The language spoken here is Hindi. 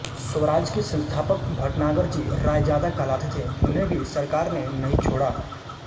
स्वराज के संस्थापक भटनागर जी रायजादा कहलाते थे उन्हें भी सरकार ने नहीं छोड़ा